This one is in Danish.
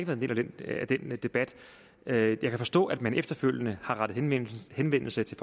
en del af den debat jeg kan forstå at man efterfølgende har rettet henvendelse til